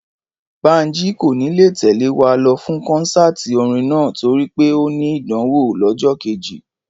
Bánjí kò ní lè tẹ̀lé wa lọ fún kọ́nsáàti orin náà torí pé ó ní ìdánwò lọ́jọ́ kejì